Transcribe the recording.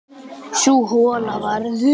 Sú hola varð um